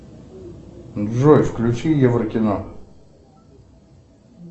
джой включи евро кино